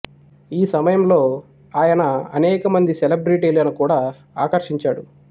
ఈ సమయంలో ఆయన అనేక మంది సెలెబ్రిటీలను కూడా ఆకర్షించాడు